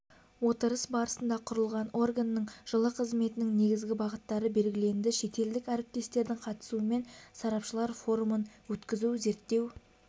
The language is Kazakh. отырыс барысында құрылған органның жылы қызметінің негізгі бағыттары белгіленді шетелдік әріптестердің қатысуымен сарапшылар форумын өткізу зерттеу